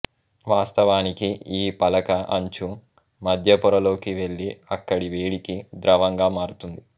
వాస్తవానికి ఈ పలక అంచు మద్యపొరలోకి వెళ్లి అక్కడి వేడికి ద్రవంగా మారుతుంది